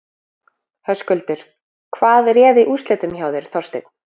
Höskuldur: Hvað réði úrslitum hjá þér, Þorsteinn?